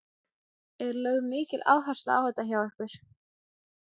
Er lögð mikil áhersla á þetta hjá ykkur?